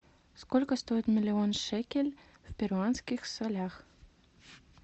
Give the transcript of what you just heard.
сколько стоит миллион шекель в перуанских солях